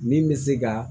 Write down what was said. Min bɛ se ka